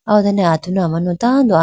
aw done atunu amanu tando.